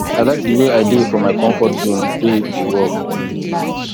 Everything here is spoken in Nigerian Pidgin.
i like the way i dey for my comfort zone dey dey work